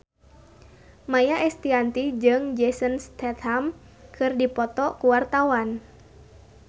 Maia Estianty jeung Jason Statham keur dipoto ku wartawan